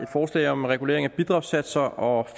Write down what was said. forslag om regulering af bidragssatser og